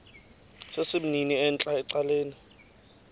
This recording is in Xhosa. sesimnini entla ecaleni